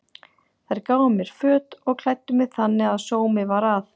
Þær gáfu mér föt og klæddu mig þannig að sómi var að.